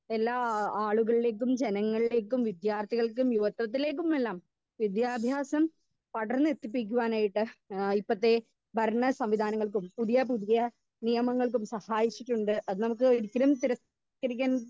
speaker 2 എല്ലാ ആളുകളിലേക്കും ജനങ്ങളിലേക്കും വിദ്യാർത്ഥികൾക്കും യുവത്വത്തിലേക്കുമെല്ലാം വിദ്യാഭ്യാസം തൊടരന്ന് എത്തിപ്പിക്കുവാനായിട്ട് ഏഹ് ഇപ്പത്തെ ഭരണ സംവിധാനങ്ങൾക്കും പുതിയ പുതിയ നിയമങ്ങൾക്കും സഹായിച്ചിട്ടുണ്ട് അതെനിക്ക് ഒരിക്കലും തിര ക്കരിക്കാൻ